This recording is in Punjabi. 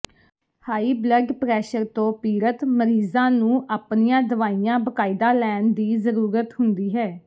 ਹਾਈ ਬਲੱਡ ਪ੍ਰੈਸ਼ਰ ਤੋਂ ਪੀੜਤ ਮਰੀਜ਼ਾਂ ਨੂੰ ਆਪਣੀਆਂ ਦਵਾਈਆਂ ਬਾਕਾਇਦਾ ਲੈਣ ਦੀ ਜ਼ਰੂਰਤ ਹੁੰਦੀ ਹੈ